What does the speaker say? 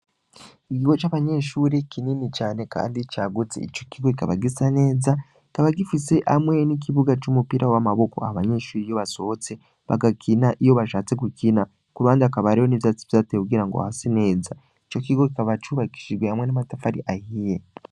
Igiho c'abanyenshuri kinini cane, kandi caguze ico kigo kikaba gisa neza kaba gifise amwe n'ikibuga c'umupira w'amaboko aha abanyenshuri iyo basohotse bagakina iyo bashatse gukina ku rbandi akabareho n'ivyatsi vyateye kugira ngo hase neza ico kigo kikaba cubakishijwe hamwe n'amatafari ahiye.